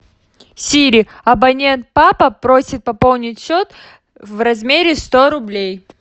сири абонент папа просит пополнить счет в размере сто рублей